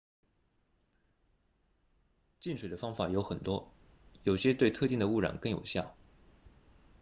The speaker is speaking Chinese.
净水的方法有很多有些对特定的污染更有效